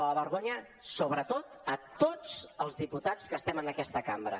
de la vergonya sobretot a tots els diputats que estem en aquesta cambra